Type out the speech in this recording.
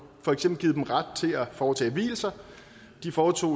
for eksempel givet dem ret til at foretage vielser de foretog